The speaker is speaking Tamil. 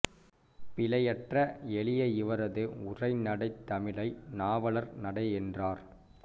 பிழையற்ற எளிய இவரது உரைநடைத் தமிழை நாவலர் நடை என்றனர்